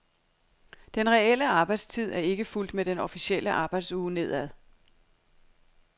Den reelle arbejdstid er ikke fulgt med den officielle arbejdsuge nedad.